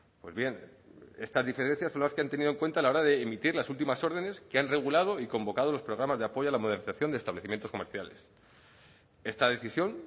pues bien estas diferencias son las que han tenido en cuenta a la hora de emitir las últimas órdenes que han regulado y convocado los programas de apoyo a la modernización de establecimientos comerciales esta decisión